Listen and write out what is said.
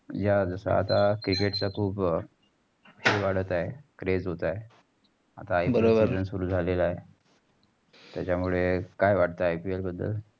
या सदा Ticket चा खूप हे वाढत आहे. craze होत आहे. आता बरोबर IPLseason सुरु झालेला आहे. तेच्यामुळे काय वाटत IPL बद्दल?